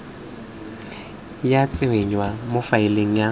ya tsenngwa mo faeleng ya